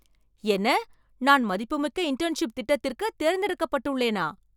என்ன, நான் மதிப்புமிக்க இன்டர்ன்ஷிப் திட்டத்திற்குத் தேர்ந்தெடுக்கப்பட்டுள்ளேனா